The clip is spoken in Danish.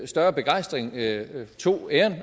større begejstring tog æren